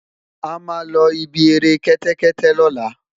ama lo ibí eré kété kété lola